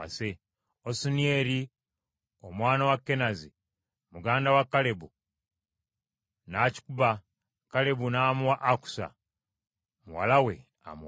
Osunieri omwana wa Kenazi, muganda wa Kalebu, n’akikuba, Kalebu n’amuwa Akusa muwala we amuwase.